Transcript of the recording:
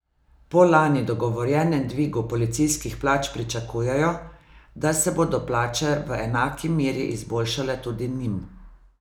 Po lani dogovorjenem dvigu policijskih plač pričakujejo, da se bodo plače v enaki meri izboljšale tudi njim.